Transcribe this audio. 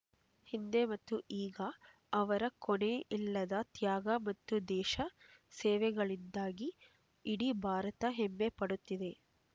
ಹಿಂದೆ ಮತ್ತು ಈಗ ಅವರ ಕೊನೆಯಿಲ್ಲದ ತ್ಯಾಗ ಮತ್ತು ದೇಶ ಸೇವೆಗಳಿಂದಾಗಿ ಇಡೀ ಭಾರತ ಹೆಮ್ಮೆಪಡುತ್ತಿದೆ